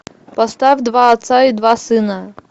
поставь два отца и два сына